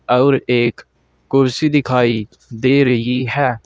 और एक कुर्सी दिखाई दे रही है।